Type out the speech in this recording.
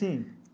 Sim.